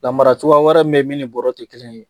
Lamara cogoya wɛrɛ min bɛ ye min ni bɔrɛ tɛ kelen ye